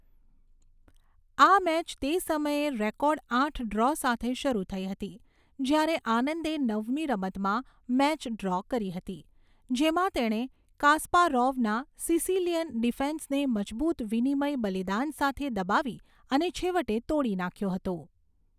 આ મેચ તે સમયે રેકોર્ડ આઠ ડ્રો સાથે શરૂ થઈ હતી, જ્યારે આનંદે નવમી રમતમાં મેચ ડ્રો કરી હતી, જેમાં તેણે કાસ્પારોવના સિસિલિયન ડિફેન્સને મજબૂત વિનિમય બલિદાન સાથે દબાવી અને છેવટે તોડી નાખ્યો હતો.